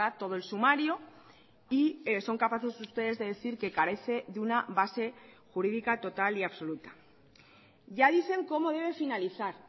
todo el sumario y son capaces ustedes de decir que carece de una base jurídica total y absoluta ya dicen cómo debe finalizar